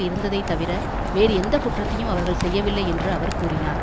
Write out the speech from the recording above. இருந்ததை தவிர வேறு எந்தக்குற்றத்தையும் அவர்கள் செய்யவில்லை என்று அவர் கூறினார்